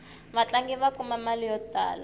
vatlangi va kuma mali yo tala